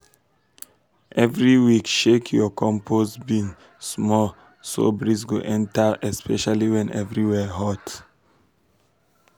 every week shake your compost bin small so breeze go enter especially when everywhere hot.